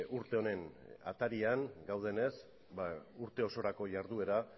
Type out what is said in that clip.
urte honen atarian gaudenez urte osorako jarduera